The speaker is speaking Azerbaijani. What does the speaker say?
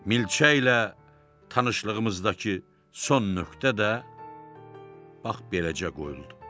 Milçəklə tanışlığımızdakı son nöqtə də bax beləcə qoyuldu.